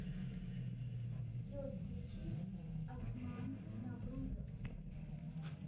джой включи осман наврузов